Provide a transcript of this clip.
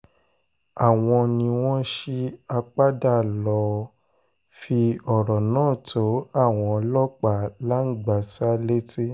àwọn ni wọ́n ṣí apádà lọ́ọ́ fi ọ̀rọ̀ náà tó àwọn ọlọ́pàá langbasa létí